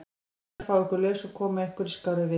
Ég skal fá ykkur laus og koma ykkur í skárri vist.